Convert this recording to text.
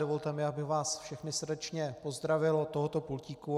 Dovolte mi, abych vás všechny srdečně pozdravil od tohoto pultíku.